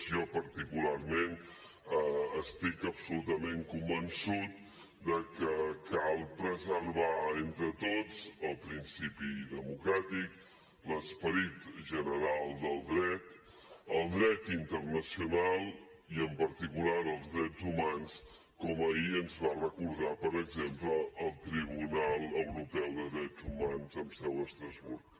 jo particularment estic absolutament convençut de que cal preservar entre tots el principi democràtic l’esperit general del dret el dret internacional i en particular els drets humans com ahir ens va recordar per exemple el tribunal europeu de drets humans amb seu a estrasburg